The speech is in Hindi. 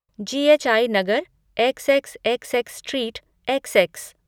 ji H I Nagar, X X X X street, X x